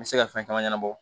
N bɛ se ka fɛn caman ɲɛnabɔ